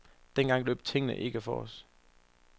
Dengang løb tingene ikke fra os.